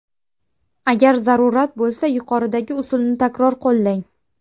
Agar zarurat bo‘lsa yuqoridagi usulni takror qo‘llang.